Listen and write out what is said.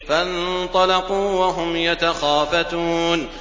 فَانطَلَقُوا وَهُمْ يَتَخَافَتُونَ